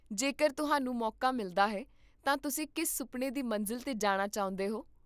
ਜੇਕਰ ਤੁਹਾਨੂੰ ਮੌਕਾ ਮਿਲਦਾ ਹੈ ਤਾਂ ਤੁਸੀਂ ਕਿਸ ਸੁਪਨੇ ਦੀ ਮੰਜ਼ਿਲ 'ਤੇ ਜਾਣਾ ਚਾਹੁੰਦੇ ਹੋ?